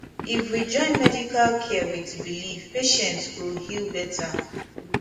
if we join medical care with belief patient go heal better